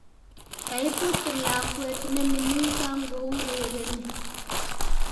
Kaibut lakwet nemining kangourereni